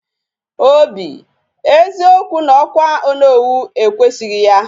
Obi, eziokwu na okwa Onowu ekwesighi ya.